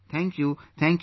Thank you, Thank you